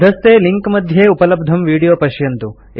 अधस्थे लिंक मध्ये उपलब्धं विडियो पश्यन्तु